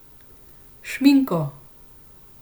Šminko!